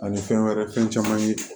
Ani fɛn wɛrɛ fɛn caman ye